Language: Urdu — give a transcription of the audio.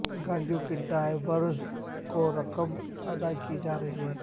گاڑیوں کے ڈرائیورز کو رقم ادا کی جا رہی ہے